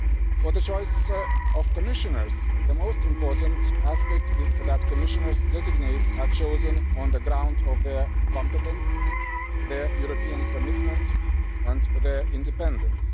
For the choice of Commissioners, the most important aspect is that Commissioners designate are chosen on the grounds of their competence, their European commitment and their independence.